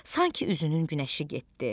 Sanki üzünün günəşi getdi.